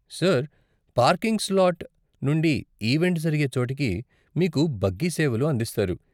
Sir, parking slot నుండి event జరిగే చోటికి మీకు బగ్గీ సేవలు అందిస్తారు.